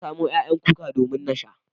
Na samo ƴaƴan kuka domin na sha.